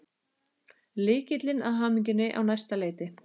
Lykillinn að hamingjunni á næsta leiti.